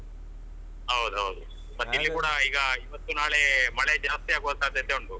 ಹೌದು ಹೌದು. ಮತ್ತೆ ಇಲ್ಲಿ ಕೂಡ ಈಗ ಇವತ್ತು ನಾಳೆ ಮಳೆ ಜಾಸ್ತಿ ಆಗುವ ಸಾಧ್ಯತೆ ಉಂಟು.